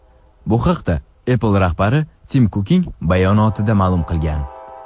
Bu haqda Apple rahbari Tim Kukning bayonotida ma’lum qilingan .